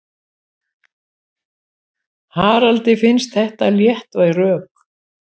Haraldi finnst þetta léttvæg rök.